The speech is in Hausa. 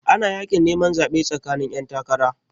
Ana yakin neman zaɓe tsakanin 'yantakara.